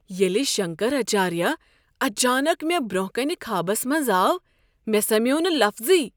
ییٚلہ شنکراچاریہ اچانک مےٚ برٛونٛہہ کنہ خوابس منٛز آو ،مےٚ سمیوو نہ لفظٕے۔